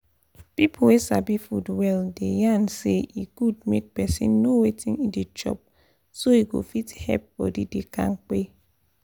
people wey sabi food well dey yarn say e good make person know wetin e dey chop so e go fit help body dey kampe